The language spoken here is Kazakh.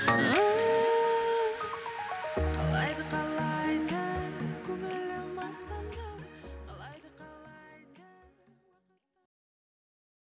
қалайды қалайды көңілім аспандауды